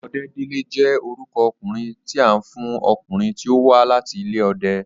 Ọdẹ́délé jẹ́ orúkọ okùnrin tí a ń fún ọkùnrin tí ó wa láti ilé ọdẹ